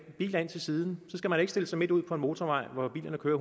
biler ind til siden skal man ikke stille sig midt ud på en motorvej hvor bilerne kører